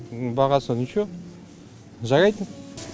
бағасы ниче жарайды